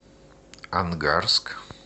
ангарск